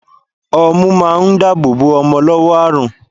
Ọmú ma ń dáàbò bò ọmọ lọ́wọ́ àrùn.